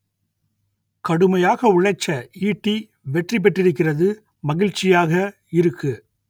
கடுமையாக உழைச்ச ஈட்டி வெற்றி பெற்றிருக்கிறது மகிழ்ச்சியாக இருக்கு